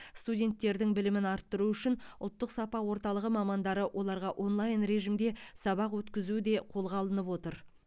студенттердің білімін арттыру үшін ұлттық сапа орталығы мамандары оларға онлайн режимде сабақ өткізу де қолға алынып отыр